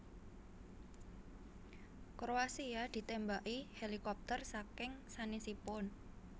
Kroasia ditembaki helikopter saking sanesipun